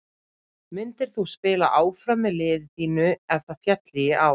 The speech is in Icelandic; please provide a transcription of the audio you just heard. Myndir þú spila áfram með liði þínu ef það félli í ár?